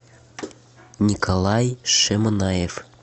николай шеманаев